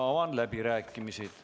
Avan läbirääkimised.